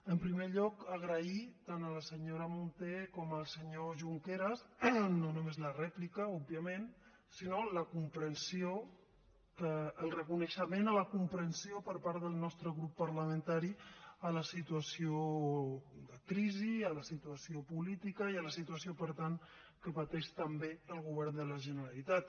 en primer lloc agrair tant a la senyora munté com al senyor junqueras no només la rèplica òbviament sinó la comprensió el reconeixement a la comprensió per part del nostre grup parlamentari a la situació de crisi a la situació política i a la situació per tant que pateix també el govern de la generalitat